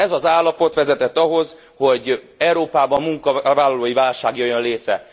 Ez az állapot vezetett ahhoz, hogy Európában munkavállalói válság jöjjön létre.